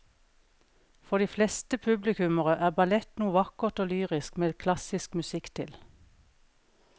For de fleste publikummere er ballett noe vakkert og lyrisk med klassisk musikk til.